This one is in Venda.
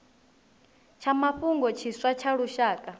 tsha mafhungo tshiswa tsha lushaka